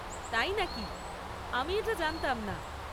তাই নাকি! আমি এটা জানতাম না।